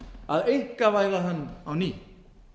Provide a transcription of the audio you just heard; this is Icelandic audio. að einkavæða hann á ný